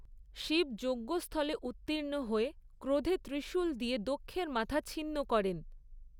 শিব যজ্ঞস্থলে উত্তীর্ণ হয়ে ক্রোধে ত্রিশূল দিয়ে দক্ষের মাথা ছিন্ন করেন।